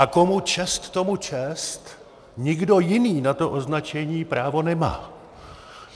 A komu čest, tomu čest, nikdo jiný na to označení právo nemá.